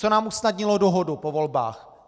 Co nám usnadnilo dohodu po volbách?